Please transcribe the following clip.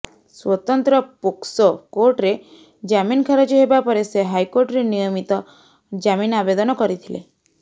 ସ୍ବତନ୍ତ୍ର ପୋକ୍ସୋ କୋର୍ଟରେ ଜାମିନ ଖାରଜ ହେବା ପରେ ସେ ହାଇକୋର୍ଟରେ ନିୟମିତ ଜାମିନ ଆବେଦନ କରିଥିଲେ